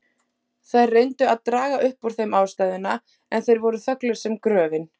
Þær reyndu að draga upp úr þeim ástæðuna, en þeir voru þöglir sem gröfin.